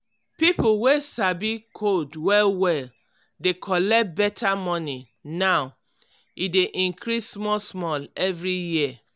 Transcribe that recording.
pipo wey sabi code well-well dey collect better money now e dey increase small-small every year.